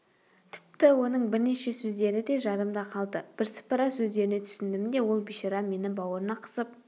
тіпті оның бірнеше сөздері де жадымда қалды бірсыпыра сөздеріне түсіндім де ол бишара мені бауырына қысып